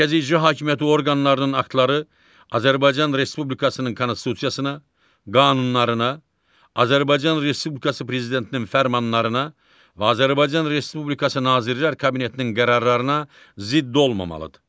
Mərkəzi icra hakimiyyəti orqanlarının aktları Azərbaycan Respublikasının konstitusiyasına, qanunlarına, Azərbaycan Respublikası Prezidentinin fərmanlarına və Azərbaycan Respublikası Nazirlər Kabinetinin qərarlarına zidd olmamalıdır.